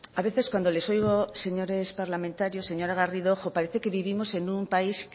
a veces cuando les oigo señores parlamentarios señora garrido parece que vivimos en un país